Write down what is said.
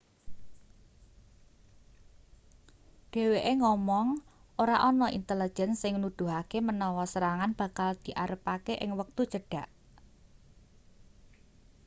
dheweke ngomong ora ana intelejen sing nuduhake menawa serangan bakal diarepake ing wektu cedhak